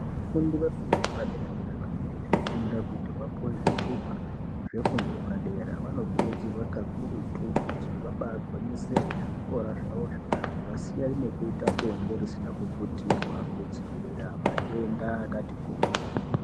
Vafundi vefundo yepadera dera vanenga veifunda kuti vapuwe zvitupa zvefundo yepadera vanokurudzirwa kakurutu kuti vabaa gwinyisire ngezvikora zvawozvo vasiyane nekuita bonde risina kuputirwa kudzivirira matenda akati kuti.